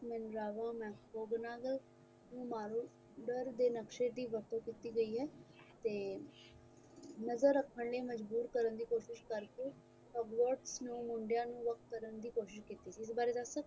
ਡਰਦੇ ਨਕਸ਼ੇ ਦੀ ਵਰਤੋਂ ਕੀਤੀ ਗਈ ਹੈ ਤੇ ਨਜ਼ਰ ਰੱਖਣ ਦੀ ਮਜਬੂਰ ਕਰਨ ਦੀ ਕੋਸ਼ਿਸ਼ ਕਰ ਕੇ oblords ਨੂੰ ਮੁੰਡਿਆਂ ਨੂੰ ਅਲੱਗ ਕਰਨ ਦੀ ਕੋਸ਼ਿਸ਼ ਕਹੀ ਗਈ ਹੈ ਇਸ ਦੇ ਬਾਰੇ ਦੱਸ ਸਕਦੇ ਹੋ